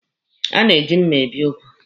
A na-eji mma ebi ụgụ.